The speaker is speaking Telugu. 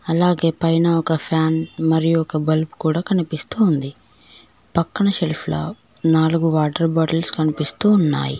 అలాగే పైన ఒక ఫ్యాన్ మరియు ఒక బల్బు కూడా కనిపిస్తూ ఉంది పక్కనే షెల్ఫ్ లో నాలుగు వాటర్ బాటిల్స్ కనిపిస్తూ ఉన్నాయి.